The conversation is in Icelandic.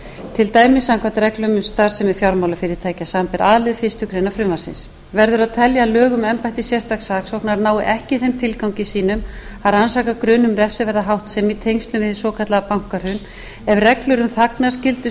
til dæmis samkvæmt reglum um starfsemi fjármálafyrirtækja samanber a lið fyrstu grein frumvarpsins verður að telja að lög um embætti sérstaks saksóknara nái ekki þeim tilgangi sínum að rannsaka grun um refsiverða háttsemi í tengslum við hið svokallaða bankahrun ef reglur um þagnarskyldu